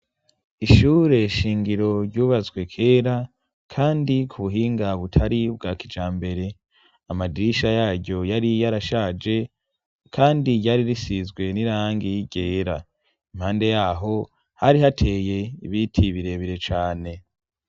Ishure shingiro ryubatswe kera ,kandi ku buhinga butari bwa kijambere, amadirisha yaryo yari yarashaje, kandi ryari risizwe n'irangi ryera ,impande yaho hari hateye ibiti ibirebire cane.